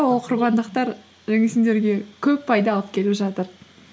ол құрбандықтар жаңағы сендерге көп пайда алып келіп жатыр